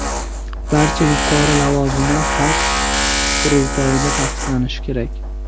Barcha yuqori lavozimlar xalq qurultoyida tasdiqlanishi kerak.